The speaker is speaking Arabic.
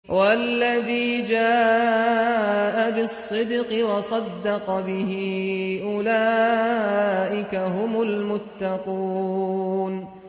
وَالَّذِي جَاءَ بِالصِّدْقِ وَصَدَّقَ بِهِ ۙ أُولَٰئِكَ هُمُ الْمُتَّقُونَ